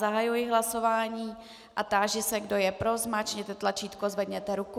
Zahajuji hlasování a táži se, kdo je pro, zmáčkněte tlačítko, zvedněte ruku.